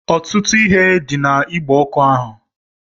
Ọtụtụ ihe dị n'igbe ọkụ ahụ